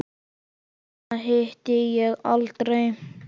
Hana hitti ég aldrei.